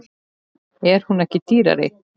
En er hún ekki dýrari?